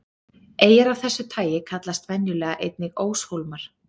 Eyjar af þessu tagi kallast venjulega einnig óshólmar.